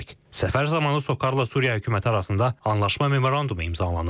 Səfər zamanı SOCARla Suriya hökuməti arasında Anlaşma Memorandumu imzalanıb.